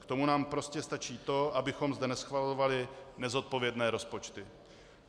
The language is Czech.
K tomu nám prostě stačí to, abychom zde neschvalovali nezodpovědné rozpočty.